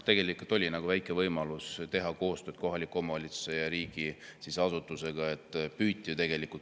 Tegelikult oli väikegi võimalus teha kohaliku omavalitsuse ja riigiasutuse koostööd.